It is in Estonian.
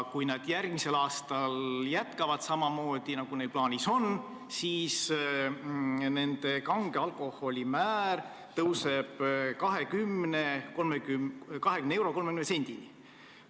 Kui nad järgmisel aastal jätkavad samamoodi, nagu neil plaanis on, siis nende kange alkoholi aktsiisimäär tõuseb 20 euro ja 30 sendini.